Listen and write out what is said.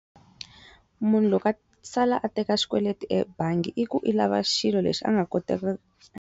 Munhu loko a sala a teka xikweleti ebangi i ku i lava xilo lexi a nga .